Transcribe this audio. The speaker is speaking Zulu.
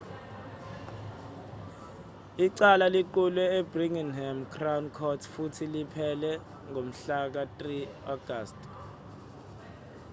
icala liqulwe e-birmingham crown court futhi liphele ngomhlaka-3 agasti